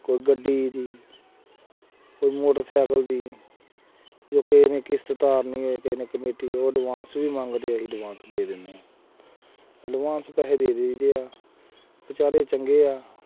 ਕੋਈ ਗੱਡੀ ਦੀ ਕੋਈ ਮੋਟਰ ਸਾਈਕਲ ਦੀ, ਜੇ ਕਿਸੇ ਨੇ ਕਿਸਤ ਤਾਰਨੀ ਹੋਏ ਕਿਸੇ ਨੇ ਕਮੇਟੀ ਉਹ advance ਵੀ ਮੰਗਦੇ ਹੈ ਅਸੀਂ advance ਦੇ ਦਿਨੇ ਹਾਂ advance ਪੈਸੇ ਦੇ ਦੇਈਦੇ ਹੈ ਬੇਚਾਰੇ ਚੰਗੇ ਹੈ,